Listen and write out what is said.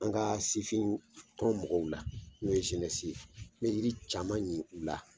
An ka sifin tɔn mɔgɔw la n'o ye ye. N ye yiri caman nin u la.